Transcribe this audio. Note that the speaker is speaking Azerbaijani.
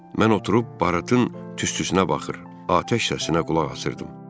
Mən oturub baratın tüstüsünə baxır, atəş səsinə qulaq asırdım.